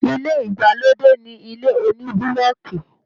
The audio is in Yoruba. ilé ìgbàlódé ni ilé onibuloki.